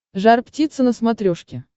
жар птица на смотрешке